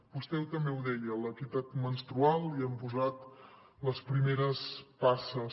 vostè també ho deia l’equitat menstrual hi hem posat les primeres passes